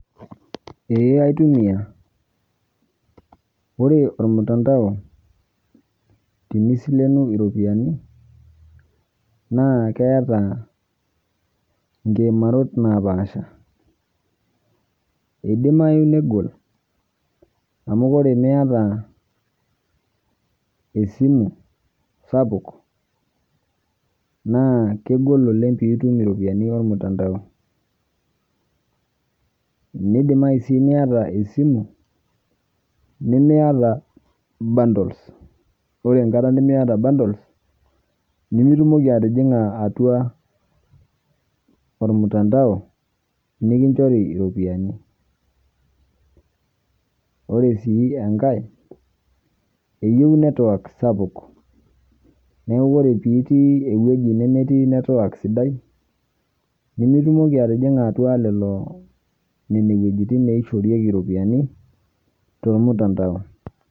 Ee aitumia, ore ormutandao tenisilenu iropiyani naa keeta nkimaarot napaasha, idimayu negol amu ore miata esimu sapuk na kegol oleng pitum iropiyiani ormutandao nidimayu sii niata esimu nimemiata bundles ore enkata nimiata bundles nimitumoki atijinga atua ormutandao nikinchori iropiyiani, ore si enkae eyieu network sapuk neaku ore pitii ewoji nemetii sidai nimitumoki atijinga nona wuejitin naishorieki ropiyiani tormutandao.